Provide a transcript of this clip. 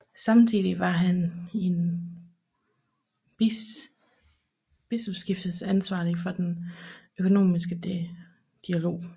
Samtidig var han bispestiftets ansvarlige for den økumeniske dialog